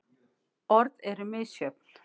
Orð eru misjöfn.